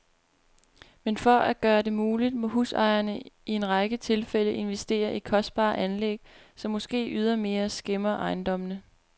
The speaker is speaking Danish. Men for at gøre det muligt, må husejerne i en række tilfælde investere i kostbare anlæg, som måske ydermere skæmmer ejendommene.